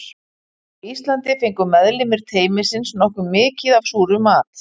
Á Íslandi fengu meðlimir teymisins nokkuð mikið af súrum mat.